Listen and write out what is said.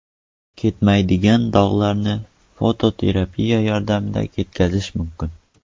Ketmaydigan dog‘larni fototerapiya yordamida ketkazish mumkin.